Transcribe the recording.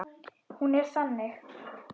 Hún er þannig